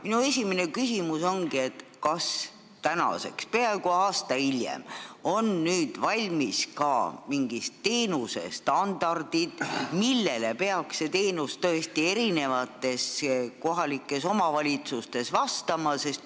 Minu esimene küsimus on, kas nüüd, peaaegu aasta hiljem, on valmis ka mingid standardid, millele peaks need teenused kohalikes omavalitsustes vastama.